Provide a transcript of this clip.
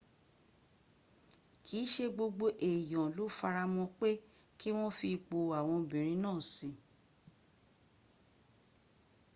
kìí ṣe gbogbo èyàn ló faramọ́ pé kí wọ́n fi ipò àwọn obìrin náà síi